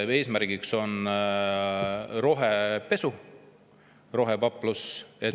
Eesmärgiks on rohepesu, rohepaplus.